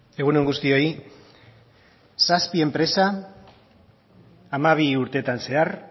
egun on guztioi zazpi enpresa hamabi urteetan zehar